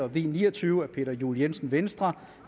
v ni og tyve af peter juel jensen